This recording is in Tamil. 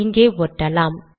இங்கே ஒட்டலாம்